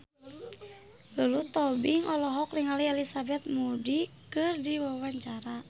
Lulu Tobing olohok ningali Elizabeth Moody keur diwawancara